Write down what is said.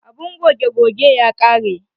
Abun goge goge ya ƙare.